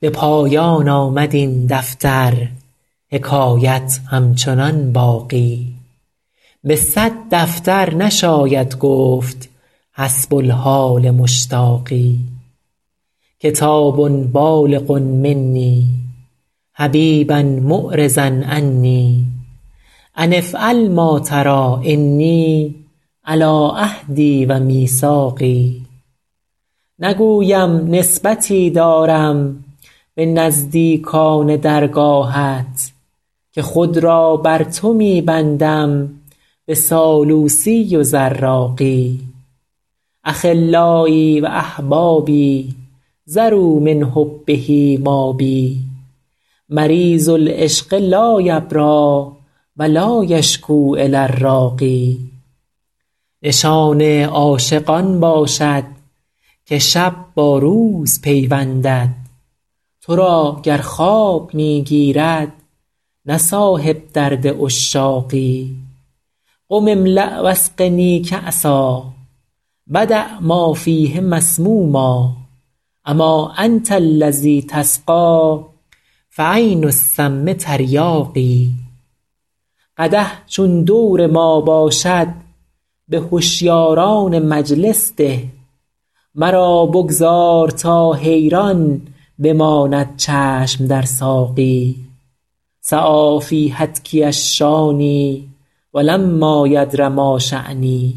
به پایان آمد این دفتر حکایت همچنان باقی به صد دفتر نشاید گفت حسب الحال مشتاقی کتاب بالغ منی حبیبا معرضا عنی أن افعل ما تری إني علی عهدی و میثاقی نگویم نسبتی دارم به نزدیکان درگاهت که خود را بر تو می بندم به سالوسی و زراقی أخلایی و أحبابی ذروا من حبه مابی مریض العشق لا یبری و لا یشکو إلی الراقی نشان عاشق آن باشد که شب با روز پیوندد تو را گر خواب می گیرد نه صاحب درد عشاقی قم املأ و اسقنی کأسا و دع ما فیه مسموما أما أنت الذی تسقی فعین السم تریاقی قدح چون دور ما باشد به هشیاران مجلس ده مرا بگذار تا حیران بماند چشم در ساقی سعی فی هتکی الشانی و لما یدر ما شانی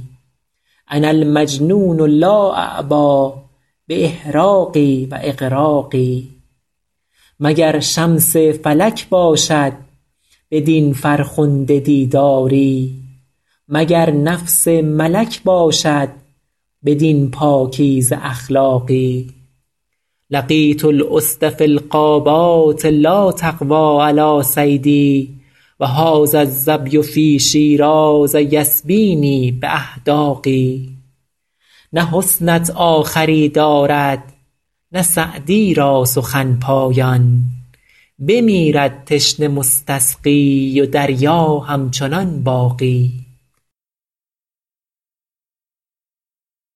أنا المجنون لا أعبا بإحراق و إغراق مگر شمس فلک باشد بدین فرخنده دیداری مگر نفس ملک باشد بدین پاکیزه اخلاقی لقیت الأسد فی الغابات لا تقوی علی صیدی و هذا الظبی فی شیراز یسبینی بأحداق نه حسنت آخری دارد نه سعدی را سخن پایان بمیرد تشنه مستسقی و دریا همچنان باقی